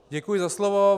Děkuji za slovo.